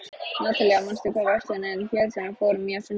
Natalía, manstu hvað verslunin hét sem við fórum í á sunnudaginn?